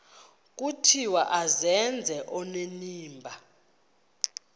vuthiwe azenze onenimba